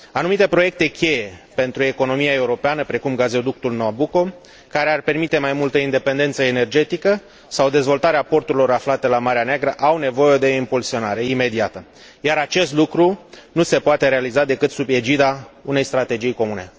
Anumite proiecte cheie pentru economia europeană, precum gazoductul Nabucco, care ar permite mai multă independență energetică, sau dezvoltarea porturilor aflate la Marea Neagră au nevoie de impulsionare imediată, iar acest lucru nu se poate realiza decât sub egida unei strategii comune.